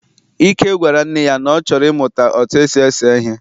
Ike gwara nne ya, na ọ chọrọ ị mụta otú esi ese ihe.